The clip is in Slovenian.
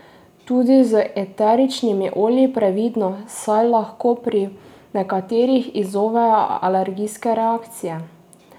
Tudi z eteričnimi olji previdno, saj lahko pri nekaterih izzovejo alergijske reakcije.